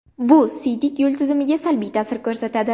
Bu siydik yo‘li tizimiga salbiy ta’sir ko‘rsatadi.